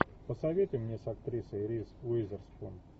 посоветуй мне с актрисой риз уизерспун